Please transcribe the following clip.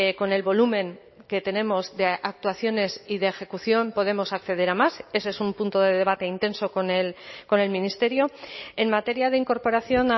con el volumen que tenemos de actuaciones y de ejecución podemos acceder a más ese es un punto de debate intenso con el ministerio en materia de incorporación